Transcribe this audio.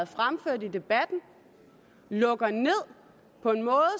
fremført i debatten de lukker ned på en måde